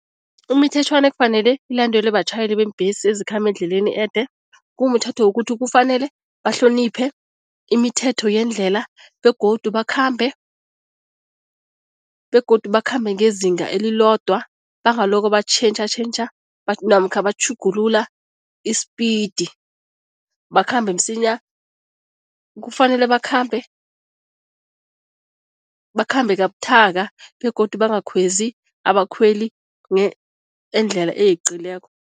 Imithetjhwana ekufanele ilandelwe batjhayeli beembhesi ezikhamba endleleni ede, kumthetho wokuthi kufanele bahloniphe imithetho yendlela begodu bakhambe begodu bakhambe ngezinga elilodwa, bangaloko batjhentjhatjhentjha namkha batjhugulula i-speed bakhambe msinya. Kufanele bakhambe bakhambe kabuthaka begodu bangakhwezi abakhweli endlela eyeqileko.